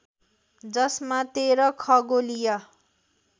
जसमा १३ खगोलीय